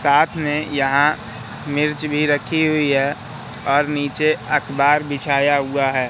साथ में यहां मिर्च भी रखी हुई है और नीचे अखबार बिछाया हुआ है।